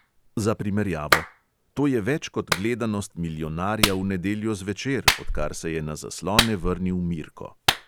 Za primerjavo: to je več kot gledanost milijonarja v nedeljo zvečer, odkar se je na zaslone vrnil mirko.